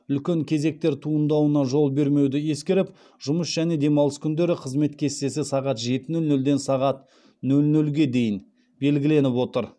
үлкен кезектер туындауына жол бермеуді ескеріп жұмыс және демалыс күндері қызмет кестесі сағат жеті нөл нөлден сағат нөл нөлге дейін белгіленіп отыр